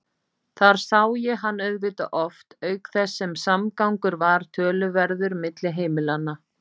Þar sá ég hann auðvitað oft auk þess sem samgangur var töluverður milli heimilanna.